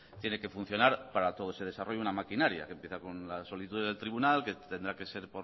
tiene que funcionar para todos se desarrolle una maquinaria que empieza con las solicitudes del tribunal que tendrá que ser